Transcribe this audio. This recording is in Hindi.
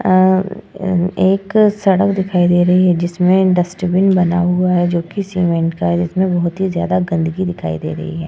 आ अम एक सड़क दिखाई दे रही है जिसमे एक डस्टबिन बना हुआ है जोकि सीमेंट का है जिसमे बहोत ही ज्यादा गंदगी दिखाई दे रही है ।